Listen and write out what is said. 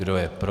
Kdo je pro?